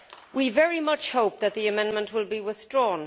We very much hope that the amendment will be withdrawn.'